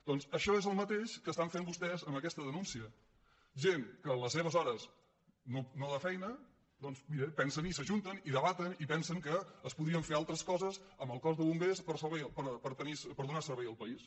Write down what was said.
doncs això és el mateix que estan fent vostès amb aquesta denúncia gent que en les seves hores no de feina doncs mira pensen i s’ajunten i debaten i pensen que es podrien fer altres coses amb el cos de bombers per donar servei al país